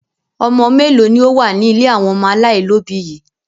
Ọmọ mélòó ni ó wà ní ilé àwọn ọmọ aláìlóòbí yìí?